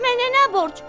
Mənə nə borc?